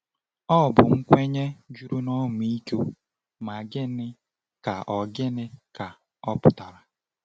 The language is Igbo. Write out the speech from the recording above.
Ọ bụ nkwenye juru n’ọmịiko, ma gịnị ka ọ gịnị ka ọ pụtara?